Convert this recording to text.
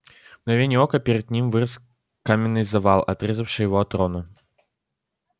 в мгновение ока перед ним вырос каменный завал отрезавший его от рона